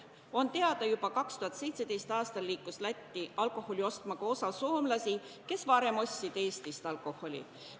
On teada, et alates 2017. aastast on Lätti alkoholi ostma suundunud ka osa soomlasi, kes varem ostsid alkoholi Eestist.